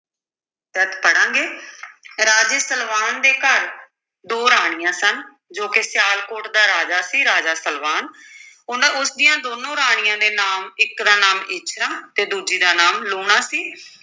ਪੜ੍ਹਾਂਗੇ ਰਾਜੇ ਸਲਵਾਨ ਦੇ ਘਰ ਦੋ ਰਾਣੀਆਂ ਸਨ, ਜੋ ਕਿ ਸਿਆਲਕੋਟ ਦਾ ਰਾਜਾ ਸੀ, ਰਾਜਾ ਸਲਵਾਨ ਉਹਨਾਂ ਉਸ ਦੀਆਂ ਦੋਨੋਂ ਰਾਣੀਆਂ ਦੇ ਨਾਮ ਇੱਕ ਦਾ ਨਾਮ ਇੱਛਰਾਂ ਤੇ ਦੂਜੀ ਦਾ ਨਾਮ ਲੂਣਾ ਸੀ।